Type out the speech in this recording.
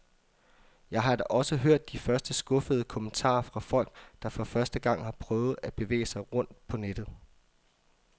Jeg har da også hørt de første skuffede kommentarer fra folk, der for første gang har prøvet at bevæge sig rundt på nettet.